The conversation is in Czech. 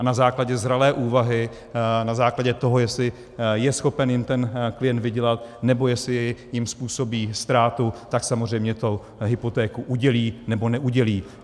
A na základě zralé úvahy, na základě toho, jestli je schopen jim ten klient vydělat, nebo jestli jim způsobí ztrátu, tak samozřejmě tu hypotéku udělí, nebo neudělí.